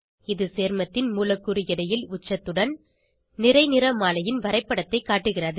இது சேர்மத்தின் மூலக்கூறு எடையில் உச்சத்துடன் நிறை நிறமாலையின் வரைப்படத்தைக் காட்டுகிறது